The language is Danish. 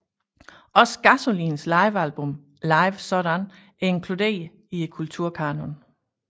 Også Gasolins livealbum Live sådan er inkluderet i Kulturkanon